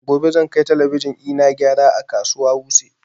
Gobe zan kai talabijin ina gyara a kasuwa wuse